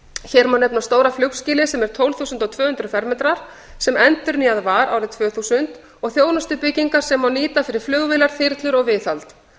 hér má nefna stóra flugskýlið sem tólf þúsund tvö hundruð fermetrar sem endurnýjað var árið tvö þúsund og þjónustubyggingar sem má nýta fyrir flugvélar þyrlur og viðhald